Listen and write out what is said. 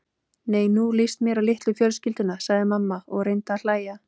Nei, nú líst mér á litlu fjölskylduna sagði mamma og reyndi að hlæja.